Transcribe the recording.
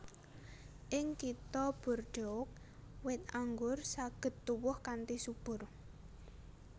Ing Kitha Bordeaux wit anggur saged tuwuh kanthi subur